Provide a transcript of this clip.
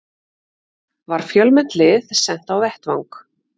Var fjölmennt lið sent á vettvang